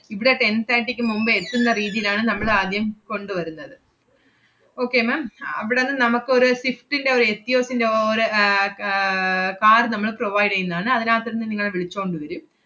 ഇവിടെ ten thirty ക്ക് മുമ്പ് എത്തുന്ന റീതീലാണ് നമ്മളാദ്യം കൊണ്ടുവരുന്നത്. okay ma'am അവടന്ന് നമ്മക്കൊരു സിഫ്റ്റിന്‍റെ ഒരു എറ്റിയോസിന്‍റെ ഓ~ ഒരു ആഹ് അഹ് car നമ്മള് provide എയ്യുന്നതാണ്. അതിനത്തിന്ന് നിങ്ങളെ വിളിച്ചോണ്ട് വെരും.